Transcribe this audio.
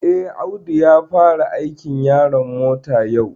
Eh, Audu ya fara aikin yaron mota yau